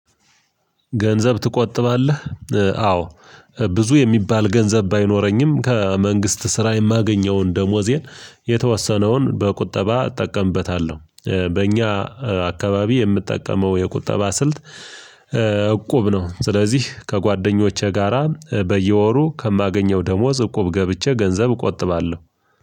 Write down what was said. ገንዘብ ትቆጥባለህ? አዎ ብዙ የሚባል ገንዘብ ባይኖረኝም ከመንግስት ስራ የማገኘውን ደሞዜን የተወሰነውን በቁጠባ እጠቀምበታለሁ። በእኛ አካባቢ የምጠቀመው የቁጠባ ስልት እቁብ ነው። ስለዚህ ከጓደኞቼ ጋራ በየወሩ ከማገኘው ደሞዝ እቁብ ገብቼ ገንዘብ እቆጥባለሁ።